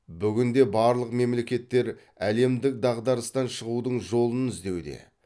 бүгінде барлық мемлекеттер әлемдік дағдарыстан шығудың жолын іздеуде